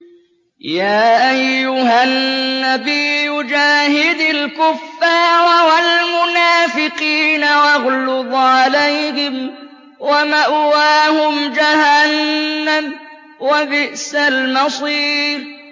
يَا أَيُّهَا النَّبِيُّ جَاهِدِ الْكُفَّارَ وَالْمُنَافِقِينَ وَاغْلُظْ عَلَيْهِمْ ۚ وَمَأْوَاهُمْ جَهَنَّمُ ۖ وَبِئْسَ الْمَصِيرُ